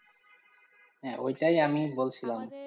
হ্যাঁ, ঐটাই আমি বলছিলাম, আমাদের